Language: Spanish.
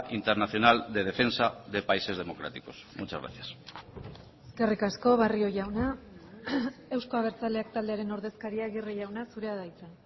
internacional de defensa de países democráticos muchas gracias eskerrik asko barrio jauna euzko abertzaleak taldearen ordezkaria aguirre jauna zurea da hitza